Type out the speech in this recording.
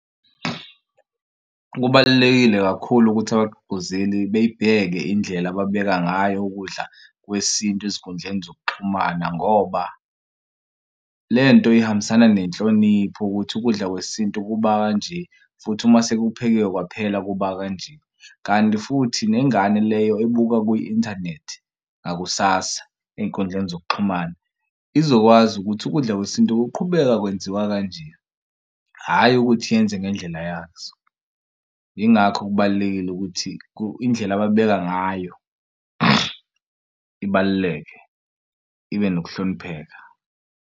Kubalulekile kakhulu ukuthi abagqugquzeli beyibheke indlela ababeka ngayo ukudla kwesintu ezinkundleni zokuxhumana ngoba le nto ihambisana nenhlonipho ukuthi ukudla kwesintu kuba kanje futhi uma sekuphekiwe kwaphela kuba kanje. Kanti futhi nengane leyo ebuka kwi-inthanethi ngakusasa ey'nkundleni zokuxhumana izokwazi ukuthi ukudla kwesintu kuqhubeka kwenziwa kanje. Hhayi ukuthi yenze ngendlela yazo. Yingakho kubalulekile ukuthi indlela ababheka ngayo ibaluleke ibe nokuhlonipheka.